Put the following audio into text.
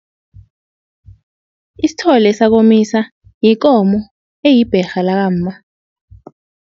Isithole sakomisa yikomo eyibherha lakamma.